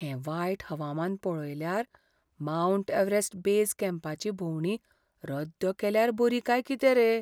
हें वायट हवामान पळयल्यार, मावंट एव्हरेस्ट बेज कॅम्पाची भोंवडी रद्द केल्यार बरी काय कितें रे?